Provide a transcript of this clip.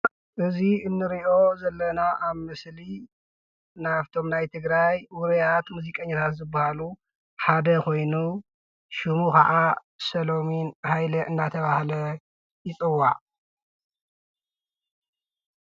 እዚ እንሪኦ ዘለና ኣብ ምስሊ ካብቶም ናይ ትግራይ ውርያት ሙዚቀኛታት ሓደ ኮይኑ ኮይኑ ሽሙ ካዓ ሰለሙን ሃይለ እናተብሃለ ይጽዋዕ።